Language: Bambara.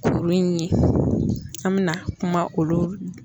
Kuru in ye an mina kuma olu